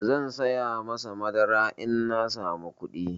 Zan saya masa madara in na samu kuɗi.